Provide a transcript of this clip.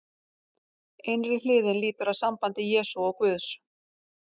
Innri hliðin lýtur að sambandi Jesú og Guðs.